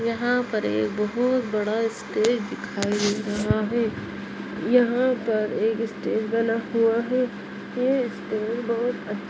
यहां पर ये बोहोत बड़ा स्टेज दिखाई दे रही रहा है यहां पर एक स्टेज बना हुआ है ये स्टेज बोहोत अच्छा--